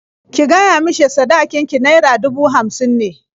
Ki gaya mishi sadakin ki naira dubu hamsin ne.